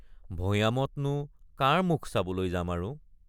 ভৈয়ামত নো কাৰ মুখ চাবলৈ যাম আৰু।